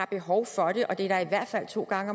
behov for det og det er der i hvert fald to gange